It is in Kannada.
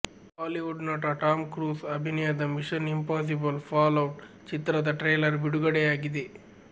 ಹಾಲಿವುಡ್ ನಟ ಟಾಮ್ ಕ್ರೂಸ್ ಅಭಿನಯದ ಮಿಷನ್ ಇಂಪಾಸಿಬಲ್ ಫಾಲ್ಔಟ್ ಚಿತ್ರದ ಟ್ರೈಲರ್ ಬಿಡುಗಡೆಯಾಗಿದೆ